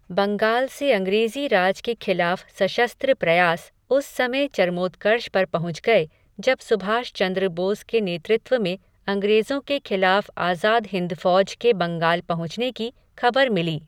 बंगाल से अंग्रेज़ी राज के खिलाफ़ सशस्त्र प्रयास उस समय चरमोत्कर्ष पर पहुँच गए जब सुभाष चंद्र बोस के नेतृत्व में अंग्रेज़ों के खिलाफ़ आजाद हिंद फौज के बंगाल पहुँचने की खबर मिली।